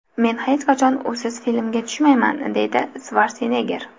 Men hech qachon usiz filmga tushmayman”, deydi Shvarsenegger.